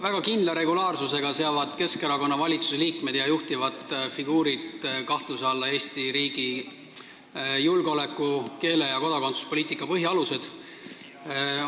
Väga kindla regulaarsusega seavad Keskerakonna valitsuse liikmed ja juhtivad figuurid kahtluse alla Eesti riigi julgeoleku-, keele- ja kodakondsuspoliitika põhialused.